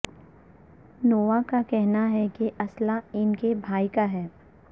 nova کا کہنا ہے کہ اسلحہ ان کے بھائی کا ہے